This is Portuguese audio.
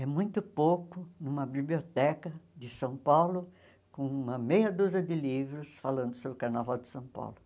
É muito pouco numa biblioteca de São Paulo com uma meia dúzia de livros falando sobre o carnaval de São Paulo.